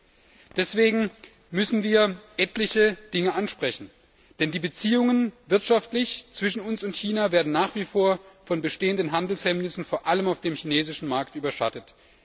11 Deswegen müssen wir etliche Dinge ansprechen, denn die Wirtschaftsbeziehungen zwischen uns und China werden nach wie vor von bestehenden Handelshemmnissen vor allem auf dem chinesischen Markt überschattet.